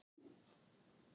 Hún var eins og gjörningar.